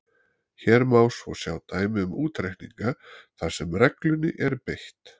Hér má svo sjá dæmi um útreikninga þar sem reglunni er beitt: